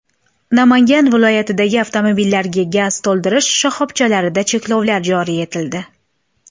Namangan viloyatidagi avtomobillarga gaz to‘ldirish shoxobchalarida cheklovlar joriy etildi.